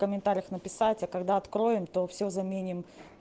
комментариях написать а когда откроем то все заменим